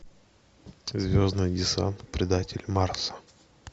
звездный десант предатель марса